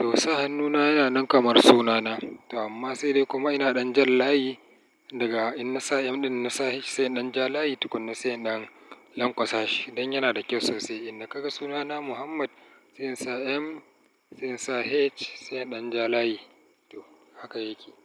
To sa hannuna yana nan kamar sunana. To amma sai dai kuma ina ɗan jan layi daga in na sa M ɗin na sa H sai inɗan ja layi tukuna sai inɗan lanƙwasa shi. Dan yana da kyau sosai. Inda ka ga sunana Muhammad sai in sa M sai in sa H sai inɗan ja layi. To haka yake.